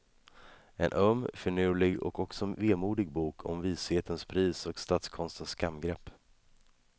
En öm, finurlig och också vemodig bok om vishetens pris och statskonstens skamgrepp.